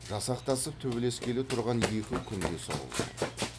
жасақтасып төбелескелі тұрған екі күндес ауылдай